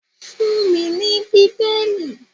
Fun mí ní Bíbélì.